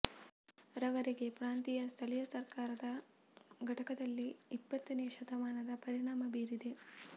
ರವರೆಗೆ ಪ್ರಾಂತೀಯ ಸ್ಥಳೀಯ ಸರ್ಕಾರದ ಘಟಕದಲ್ಲಿ ಇಪ್ಪತ್ತನೇ ಶತಮಾನದ ಪರಿಣಾಮ ಬೀರಿದೆ